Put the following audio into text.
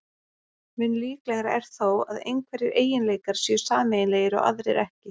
Mun líklegra er þó að einhverjir eiginleikar séu sameiginlegir og aðrir ekki.